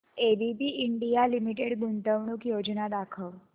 ABB India limited गुंतवणूक योजना दाखव